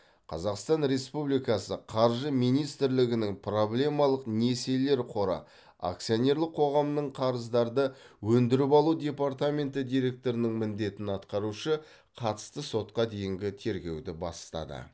қазақстан республикасы қаржы министрлігінің проблемалық несиелер қоры акционерлік қоғамның қарыздарды өндіріп алу департаменті директорының міндетін атқарушыға қатысты сотқа дейінгі тергеуді бастады